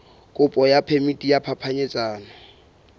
kopo ya phemiti ya phapanyetsano